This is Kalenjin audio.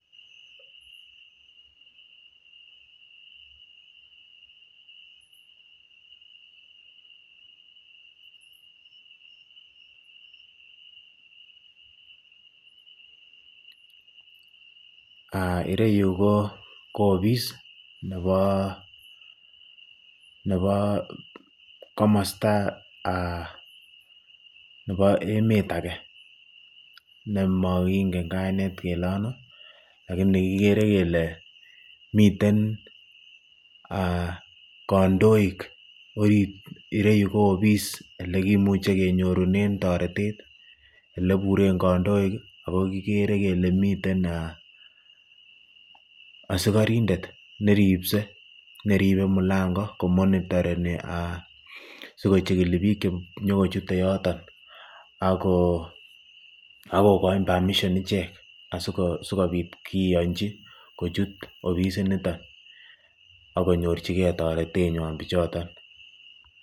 ireyu ko obis nebo komosto nebo emet akee nemoking'en kainet kelee anoo lakini kikere kelee miten kandoik ireyu ko obis elekimuche kenyorunen toretet eleburen kandoik ak ko kikere kelee miten asikorindet neribse neribe mulang'o ko monitoreni sikochikili biik chenyo kochute yoton ak ko koin permission ichek sikobit kiyonchi kochut obisiniton ak konyorchike taretenywan bichoton.